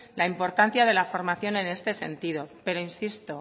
la importancia de la formación en este sentido pero insisto